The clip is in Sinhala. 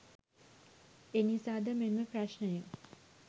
එනිසා ද මෙම ප්‍රශ්නය